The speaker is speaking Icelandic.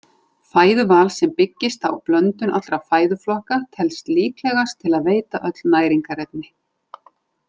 Fæðuval sem byggist á blöndun allra fæðuflokka telst líklegast til að veita öll næringarefni.